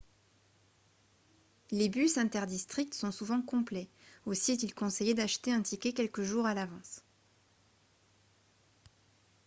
les bus inter-districts sont souvent complets aussi est-il conseillé d'acheter un ticket quelques jours à l'avance